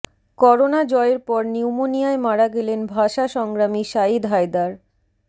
corona জয়ের পর নিউমোনিয়ায় মারা গেলেন ভাষা সংগ্রামী সাঈদ হায়দার